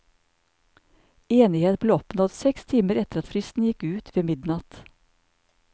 Enighet ble oppnådd seks timer etter at fristen gikk ut ved midnatt.